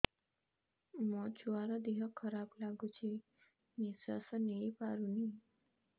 ମୋ ଛୁଆର ଦିହ ଖରାପ ଲାଗୁଚି ନିଃଶ୍ବାସ ନେଇ ପାରୁନି